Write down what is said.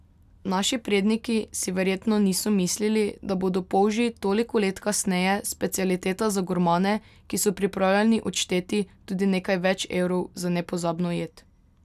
Naši predniki si verjetno niso mislili, da bodo polži toliko let kasneje specialiteta za gurmane, ki so pripravljeni odšteti tudi nekaj več evrov za nepozabno jed.